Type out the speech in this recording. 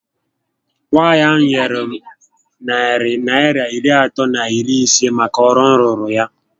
Nwaànyị ahụ nyèrè m narị Naịra iri atọ na iri isé màkà ọrụ m rụụrụ ya